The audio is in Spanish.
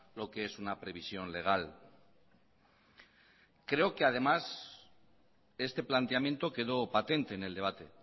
lo que es una previsión legal creo que además este planteamiento quedó patente en el debate